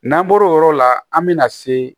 N'an bɔr'o yɔrɔ la an bɛna se